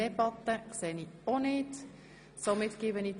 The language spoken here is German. Das ist nicht der Fall.